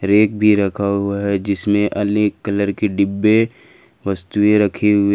bag भी रखा हुआ है जिसमें अनेक कलर के डब्बे वस्तुएं रखी हुई--